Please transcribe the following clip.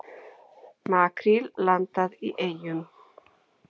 Makríl landað í Eyjum